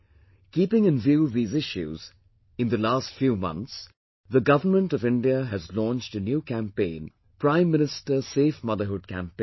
Keeping in view these issues, in the last few months, the Government of India has launched a new campaign 'Prime Minister Safe Motherhood Campaign'